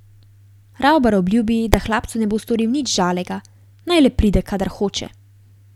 Ravbar obljubi, da hlapcu ne bo storil nič žalega, naj le pride, kadar hoče.